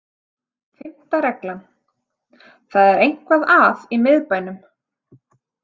Fimmta regla: Það er eitthvað að í miðbænum.